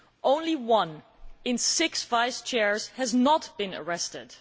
Only one in six vice chairs has not been arrested.